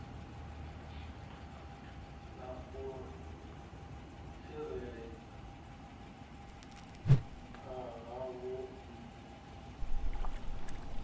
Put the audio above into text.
na u tsireledzea havhoiyi laisentsi